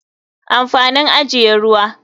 Amfanin ajiye ruwa.